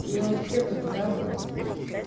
я вот все как-бы каждого